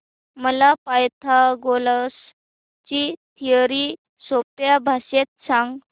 मला पायथागोरस ची थिअरी सोप्या भाषेत सांग